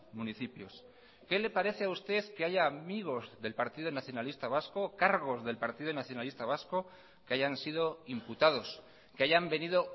municipios qué le parece a usted que haya amigos del partido nacionalista vasco cargos del partido nacionalista vasco que hayan sido imputados que hayan venido